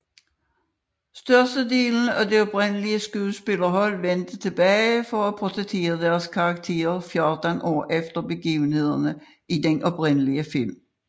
Størstedelen af det oprindelige skuespillerhold vendte tilbage for at portrættere deres karakterer 14 år efter begivenhederne i den oprindelige film